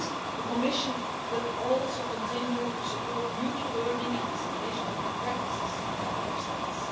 The Commission will also continue to support mutual learning and dissemination of good practices among Member States.